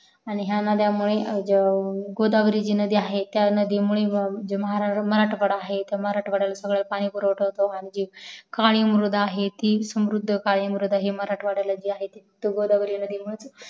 आणि ह्या नद्यांमुळे गोदावरी जी नदी आहे त्या नदी मुळे जे मराठवाडा आहे सगळ्या पाणी पुरवठा होतो आणि काली मृदा आहे ती समृद्ध काली मृदा ही मराठवाड्याला ते गोदावरी नदी मुळे